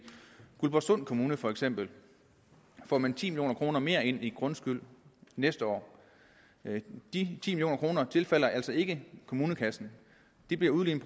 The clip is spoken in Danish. guldborgsund kommune for eksempel får man ti million kroner mere ind i grundskyld næste år de ti million kroner tilfalder altså ikke kommunekassen de bliver udlignet